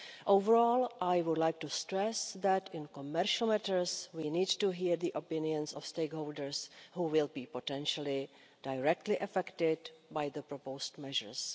Overall, I would like to stress that in commercial matters we need to hear the opinions of stakeholders who will be potentially directly affected by the proposed measures.